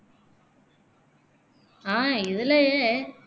ஆஹ் இதுலயே